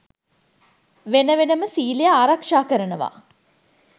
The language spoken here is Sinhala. වෙන වෙනම සීලය ආරක්ෂා කරනව